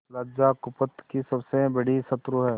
लज्जा कुपथ की सबसे बड़ी शत्रु है